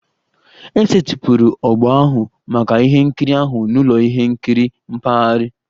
E setịpụrụ ogbo ahụ maka ihe nkiri ahụ n'ụlọ ihe nkiri mpaghara